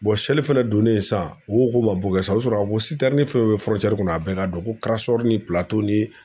seli fɛnɛ donnen san , u ko k'u kɛ sa u sɔrɔ k'a fo ko fɛn bɛ kɔnɔ a bɛɛ ka don ko ni pilato .